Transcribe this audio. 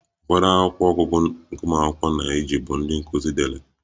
Ụfọdụ akwụkwọ ọgụgụ nke ụmụ akwụkwọ na-eji bụ ndị nkuzi dere